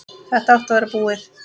Þetta átti að vera búið.